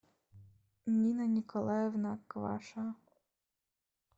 нина николаевна кваша